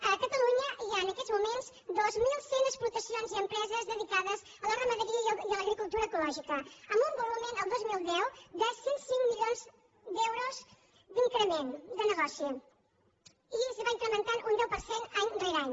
a catalunya hi ha en aquests moments dos mil cent explotacions i empreses dedicades a la ramaderia i a l’agricultura ecològica amb un volum el dos mil deu de cent i cinc mi lions d’euros d’increment de negoci i es va incrementant un deu per cent any rere any